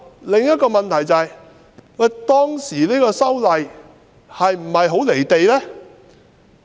另一問題是，當時的修例工作是否很"離地"呢？